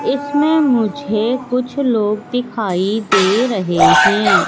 इसमें मुझे कुछ लोग दिखाई दे रहे हैं।